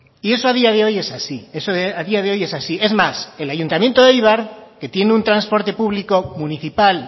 y eso a día de hoy es así eso a día de hoy es así es más el ayuntamiento de eibar que tiene un transporte público municipal